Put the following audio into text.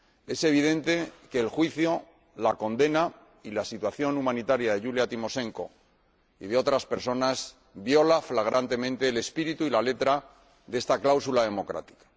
Es evidente que el juicio, la condena y la situación humanitaria de Yulia Timoshenko y de otras personas violan flagrantemente el espíritu y la letra de esta cláusula democrática.